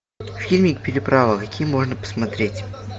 фильмик переправа какие можно посмотреть